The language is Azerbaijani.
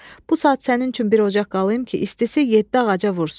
Bu saat sənin üçün bir ocaq qalayım ki, istisi yeddi ağaca vursun.